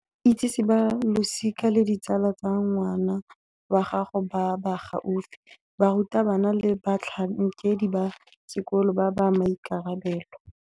Itsise ba losika le ditsala tsa ngwana wa gago ba ba gaufi, barutabana le batlhankedi ba sekolo ba ba maikarabelo.